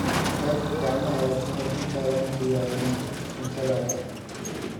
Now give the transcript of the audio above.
Dhaq gacmahaaga ka hor intaadan diyaarin cuntadaada.